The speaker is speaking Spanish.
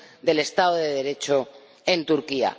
del Estado de Derecho en Turquía.